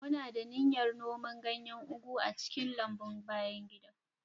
Muna da niyyar noma ganyen ugu a cikin lambun bayan gida.